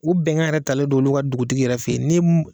U bɛnkan yɛrɛ talen don u ka dugutigi yɛrɛ fɛ yen ni